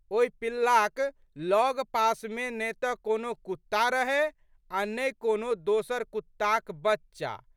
ओहि पिल्लाक लगपासमे ने तऽ कोनो कुत्ता रहए आ' ने कोनो दोसर कुत्ताक बच्चा।